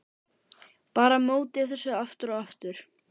Bar á móti þessu aftur og aftur.